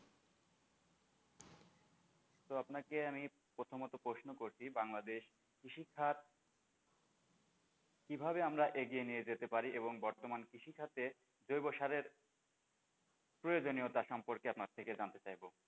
তো আপনাকে আমি প্রথমত প্রশ্ন করছি বাংলাদেশ কৃষি খাত কিভাবে আমরা এগিয়ে নিয়ে যেতে পারি এবং বর্তমান কৃষি খাতে জৈব সারের প্রয়োজনীয়তা সম্পর্কে জানতে চাইবো,